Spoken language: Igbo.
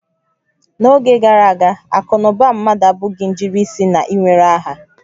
N'oge gara aga, akụ na ụba mmadụ abụghị njirisi na-ewere aha